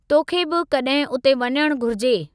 तोखे बि कड॒हिं उते वञणु घुरिजे।